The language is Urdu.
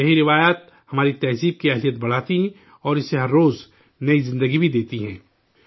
یہی روایات، ہماری ثقافت کی صلاحیت بڑھاتی ہے اور اسے ہمیشہ طاقت بھی بخشتی ہے